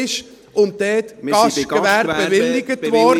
Wir sind bei den Gastgewerbebewilligungen, Herr Hess.